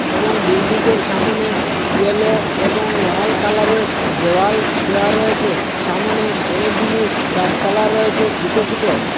এবং বিল্ডিং য়ের সামোনে ইয়োলো এবং লাল কালারে র দেওয়াল দেওয়া রয়েছে সামোনে অনেকগুলো গাছপালা রয়েছে ছোট ছোট।